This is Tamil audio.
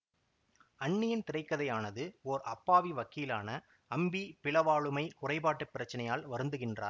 அந்நியன் திரைக்கதையானது ஓர் அப்பாவி வக்கீலான அம்பி பிளவாளுமை குறைபாட்டுப் பிரச்சினையால் வருந்துகின்றார்